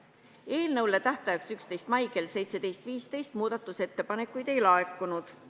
Eelnõu kohta muudatusettepanekute esitamise tähtajaks 11. mail kell 17.15 ühtegi muudatusettepanekut ei laekunud.